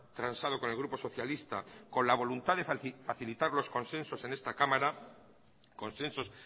transado con el grupo socialista con la voluntad de facilitar los consensos en esta cámara consensos